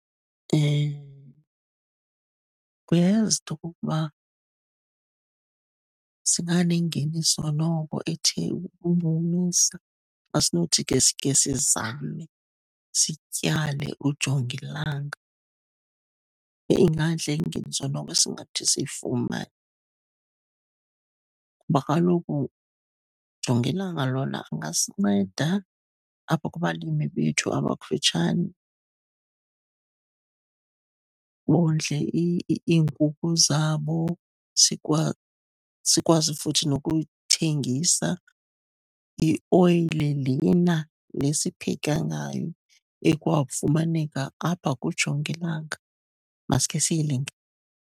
Uyayazi into yokokuba singanengeniso noko ethe ukuncumisa xa sinothi ke sikhe sizame sityale ujongilanga. Yeyi, ingantle ke noko ingeniso esinothi siyifumane kuba kaloku ujongilanga lona angasinceda apha kubalimi bethu abakufutshane bondle iinkukhu zabo. Sikwazi nokuyithengisa ioyile lena, le sipheka ngayo ekwafumaneka apha kujongilanga. Makhe siyilinge.